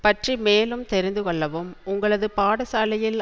பற்றி மேலும் தெரிந்து கொள்ளவும் உங்களது பாடசாலையில்